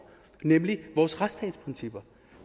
nemlig vores retsstatsprincipper